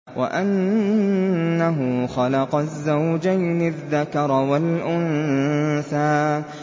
وَأَنَّهُ خَلَقَ الزَّوْجَيْنِ الذَّكَرَ وَالْأُنثَىٰ